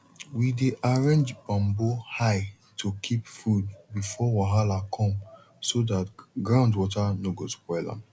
we dey arrange bamboo high to keep food before wahala come so dat ground water no go spoil am